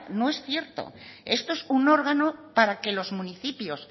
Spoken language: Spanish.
no es cierto esto es un órgano para que los municipios